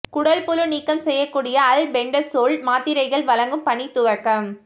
குடல்புழு நீக்கம் செய்யக்கூடிய அல்பெண்டசோல் மாத்திரைகள் வழங்கும் பணி துவக்கம்